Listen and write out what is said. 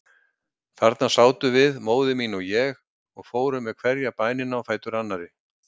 Þarna sátum við, móðir mín og ég, og fórum með hverja bænina á fætur annarri.